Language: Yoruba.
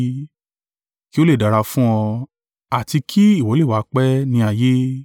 “ki ó lé dára fún ọ, àti kí ìwọ lè wà pẹ́ ní ayé.”